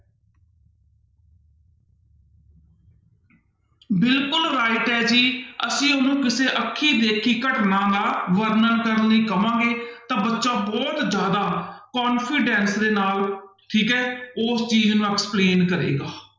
ਬਿਲਕੁਲ right ਹੈ ਜੀ ਅਸੀਂ ਉਹਨੂੰ ਕਿਸੇ ਅੱਖੀਂ ਦੇਖੀ ਘਟਨਾ ਦਾ ਵਰਣਨ ਕਰਨ ਲਈ ਕਵਾਂਗੇ ਤਾਂ ਬੱਚਾ ਬਹੁਤ ਜ਼ਿਆਦਾ confidence ਦੇ ਨਾਲ ਠੀਕ ਹੈ ਉਸ ਚੀਜ਼ ਨੂੰ explain ਕਰੇਗਾ।